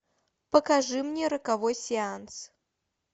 покажи мне роковой сеанс